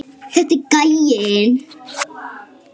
Þetta er gæinn!